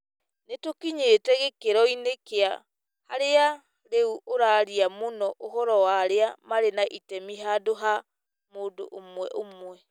Nĩ tũkinyĩtĩ gĩkĩro-inĩ kĩa harĩa rĩu ũraaria mũno ũhoro wa arĩa marĩ na itemi handũ ha mũndũ ũmwe ũmwe.